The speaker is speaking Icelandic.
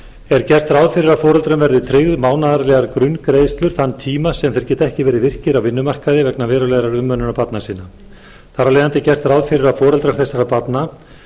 er gert ráð fyrir að foreldrunum verði tryggðar mánaðarlegar grunngreiðslur þann tíma sem þeir geta ekki verið virkir á vinnumarkaði vegna verulegrar umönnunar barna sinna þar af leiðandi er gert ráð fyrir að foreldrar þessara barna